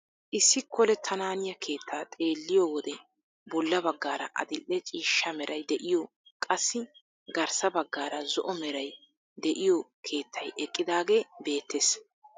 Issi kolettananiyaa keettaa xeelliyoo wode bolla baggaara adil'e ciishsha meray de'iyoo qassi garssa baggaara zo'o meray de'iyoo keettay eqqidaagee beettees.